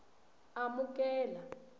amukela